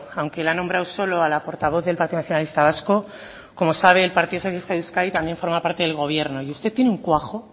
aunque la ha nombrado solo a la portavoz del partido nacionalista vasco como sabe el partido socialista de euskadi también forma parte del gobierno y usted tiene un cuajo